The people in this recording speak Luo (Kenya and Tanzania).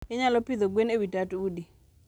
. Inyalo pidho gwen e wi tat udi.